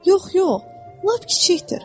Yox, yox, lap kiçikdir.